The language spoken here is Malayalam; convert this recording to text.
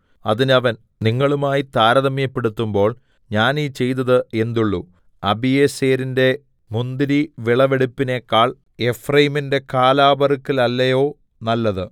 അതിന് അവൻ നിങ്ങളുമായി താരതമ്യപ്പെടുത്തുമ്പോൾ ഞാൻ ഈ ചെയ്തത് എന്തുള്ളു അബീയേസെരിന്റെ മുന്തിരിവിളവെടുപ്പിനേക്കാൾ എഫ്രയീമിന്റെ കാലാ പെറുക്കലല്ലയോ നല്ലത്